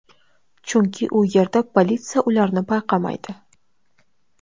Chunki u yerda politsiya ularni payqamaydi.